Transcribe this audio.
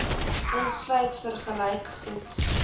insluit vergelyk goed